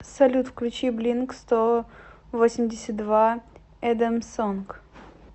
салют включи блинк сто восемьдесят два адамс сонг